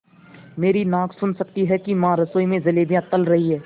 मेरी नाक सुन सकती है कि माँ रसोई में जलेबियाँ तल रही हैं